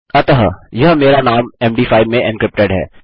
अतः यह मेरा नाम मद5 में एन्क्रिप्टेड है